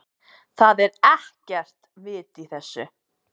ÞAÐ ER EKKERT VIT Í ÞESSU.